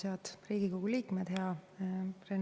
Head Riigikogu liikmed!